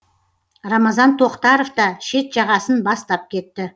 рамазан тоқтаров та шет жағасын бастап кетті